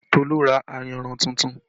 Tolu ra ayanran tuntun